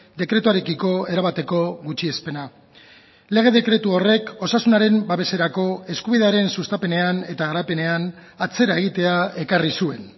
dekretuarekiko erabateko gutxiespena lege dekretu horrek osasunaren babeserako eskubidearen sustapenean eta garapenean atzera egitea ekarri zuen